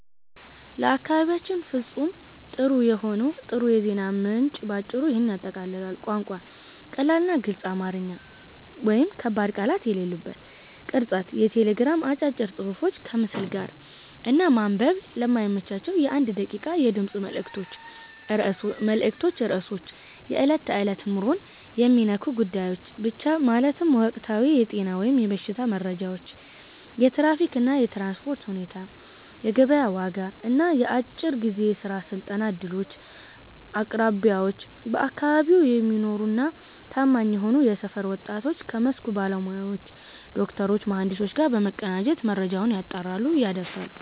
ለአካባቢያችን ፍጹም ጥሩ የዜና ምንጭ ባጭሩ ይህንን ያጠቃልላል፦ ቋንቋ፦ ቀላልና ግልጽ አማርኛ (ከባድ ቃላት የሌሉበት)። ቅርጸት፦ የቴሌግራም አጫጭር ጽሑፎች ከምስል ጋር፣ እና ማንበብ ለማይመቻቸው የ1 ደቂቃ የድምፅ መልዕክቶች ርዕሶች፦ የዕለት ተዕለት ኑሮን የሚነኩ ጉዳዮች ብቻ፤ ማለትም ወቅታዊ የጤና/የበሽታ መረጃዎች፣ የትራፊክ እና የትራንስፖርት ሁኔታ፣ የገበያ ዋጋ እና የአጭር ጊዜ የሥራ/የስልጠና ዕድሎች። አቅራቢዎች፦ በአካባቢው የሚኖሩና ታማኝ የሆኑ የሰፈር ወጣቶች ከመስኩ ባለሙያዎች (ዶክተሮች፣ መሐንዲሶች) ጋር በመቀናጀት መረጃውን ያጣራሉ፣ ያደርሳሉ።